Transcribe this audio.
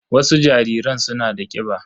Wasu jariran suna da kiba